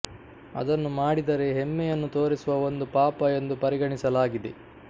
ಅದನ್ನು ಮಾಡಿದರೆ ಹೆಮ್ಮೆಯನ್ನು ತೋರಿಸುವ ಒಂದು ಪಾಪ ಎಂದು ಪರಿಗಣಿಸಲಾಗಿದೆ